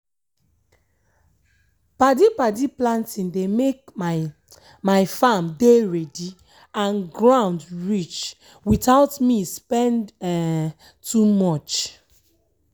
padi-padi planting dey make my my farm dey ready and ground rich without me spend um too much.